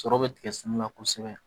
Sɔrɔ bɛ tigɛ sɛnɛ na kosɛbɛ